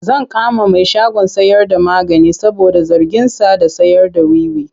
Zan kama mai shagon sayarda magani saboda zarginsa da sayarda wiwi.